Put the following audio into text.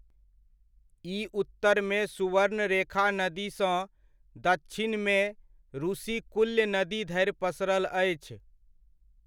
ई उत्तरमे सुवर्णरेखा नदीसँ दच्छिनमे रुशिकुल्य नदी धरि पसरल अछि।